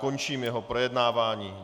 Končím jeho projednávání.